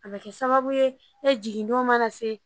A bɛ kɛ sababu ye ne jigin don mana se